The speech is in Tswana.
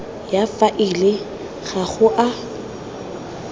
ya faele ga go a